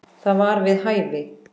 Það var við hæfi.